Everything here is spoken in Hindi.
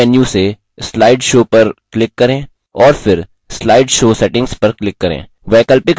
main menu से slide show पर click करें और फिर slide show settings पर click करें